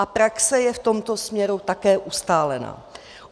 A praxe je v tomto směru také ustálená.